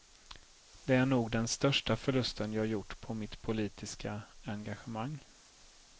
Det är nog den största förlusten jag gjort på mitt politiska engagemang.